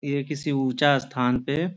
ये किसी ऊँचा स्थान पे --